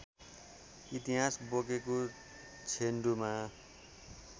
इतिहास बोकेको छेन्डुमा